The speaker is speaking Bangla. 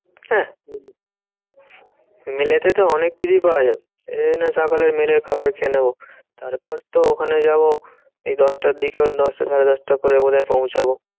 হাহ উম mail এতে তো অনেক কিছুই পাওয়া যায়। সেই জন্য সকালে mail এর খাবার খেয়ে নেবো। তারপর তো ওখানে যাবো এই দশটার দিকে দশটা সাড়ে দশটার পরে বোধহয় পৌঁছাবো।